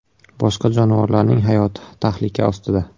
Boshqa jonivorlarning hayoti tahlika ostida.